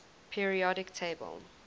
periodic table